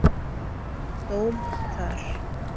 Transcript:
dóm þar.